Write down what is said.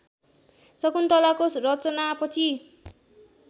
शकुन्तलाको रचनापछि